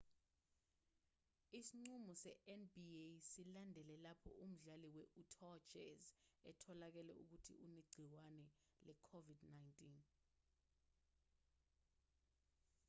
isinqumo se-nba silandele lapho umdlali we-utah jazz etholakale ukuthi unegciwane le-covid-19